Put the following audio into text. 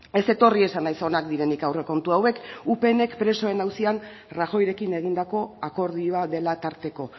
ez etorri esanez onak direnik aurrekontu hauek upnek presoen auzian rajoyerekin egindako akordioa dela tarteko